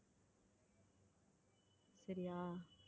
சரியா